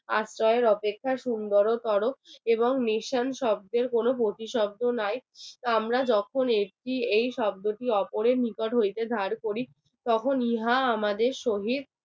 আশ্রয়ের অপেক্ষা সুন্দরতর এবং নিসান শব্দের কোনো প্রতিশব্দ নয় আমরা যখন অপরের নিকট হইতে চালু করি তখন ইহা আমাদের সহিত